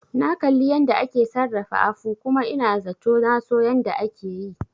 Na kalli yanda ake sarrafa afu kuma ina zato naso yanda ake yi